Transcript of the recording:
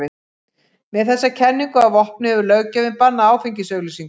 Með þessa kenningu að vopni hefur löggjafinn bannað áfengisauglýsingar.